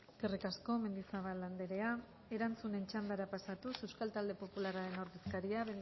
eskerrik asko mendizabal anderea erantzunen txandara pasatuz euskal talde popularraren ordezkaria